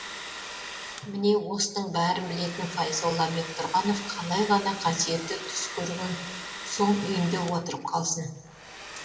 міне осының бәрін білетін файзолла бектұрғанов қалай ғана қасиетті түс көрген соң үйінде отырып қалсын